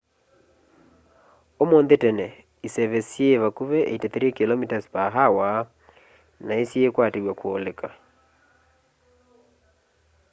ũmũnthĩ tene iseve syĩĩ vakũvĩ 83km/h na nĩsyĩĩkwatĩw'a kũoleka